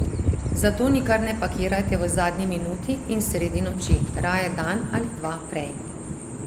Zato nikar ne pakirajte v zadnji minuti in sredi noči, raje dan ali dva prej.